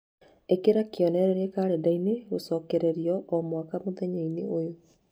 ĩkira kĩonereria kalendarĩ gũcokererio o mwaka mũthenya-inĩ ũyũ